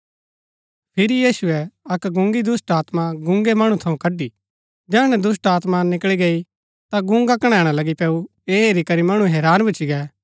फिरी यीशुऐ अक्क गुँन्‍गी दुष्‍टात्मा गुँन्‍गे मणु थऊँ कड़ी जैहणै दुष्‍टात्मा निकळी गई ता गुँन्‍गा कनैणा लगी पैऊ ऐह हेरी करी मणु हैरान भूच्ची गै